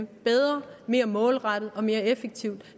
bedre mere målrettet og mere effektivt